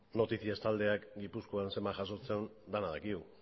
noticias taldeak gipuzkoan zenbat jasotzen duen denok dakigu